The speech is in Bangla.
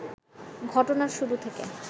ঘটনার শুরু থেকে